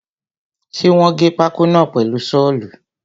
Ṣe wọ́n gé pákó náà pẹ̀lu sọ́ọ̀lù?